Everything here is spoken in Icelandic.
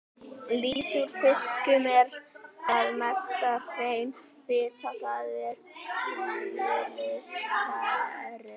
Lýsi úr fiskum er að mestu hrein fita, það er þríglýseríð.